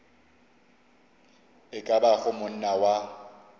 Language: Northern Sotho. e ka bago monna wa